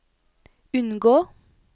unngå